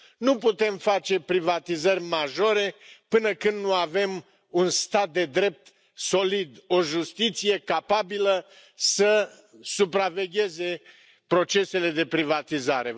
Nu putem face privatizări majore până când nu avem un stat de drept solid, o justiție capabilă să supravegheze procesele de privatizare.